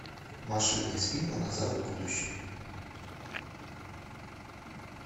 машины из фильма назад в будущее